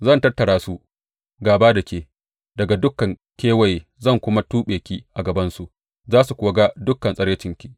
Zan tattara su gāba da ke daga dukan kewaye zan kuma tuɓe ki a gabansu, za su kuwa ga dukan tsiraicinki.